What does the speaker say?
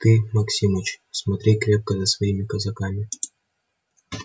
ты максимыч смотри крепко за своими казаками